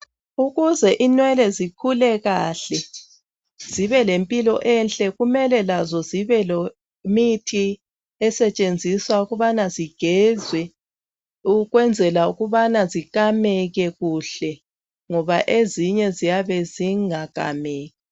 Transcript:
Ukuze inwele zikhule kahle zibe lempilo enhle kumele lazo zibe lemithi esetshenziswa ukubana zigezwe, ukwenzela ukubana zikameke kuhle, ngoba ezinye ziyabe zingakameki.